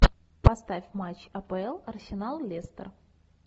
поставь матч апл арсенал лестер